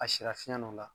A sira fiɲɛ dɔ la